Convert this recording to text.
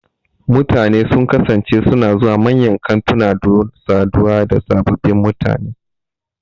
Mutane sun kasance suna zuwa manyan kantuna don saduwa da sababbin mutane.